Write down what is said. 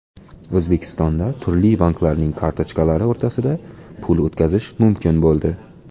O‘zbekistonda turli banklarning kartochkalari o‘rtasida pul o‘tkazish mumkin bo‘ldi .